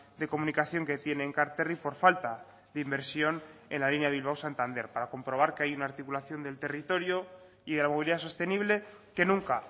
de comunicación que tiene enkarterri por falta de inversión en la línea bilbao santander para comprobar que hay una articulación del territorio y de la movilidad sostenible que nunca